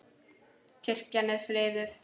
Kirkjan er friðuð.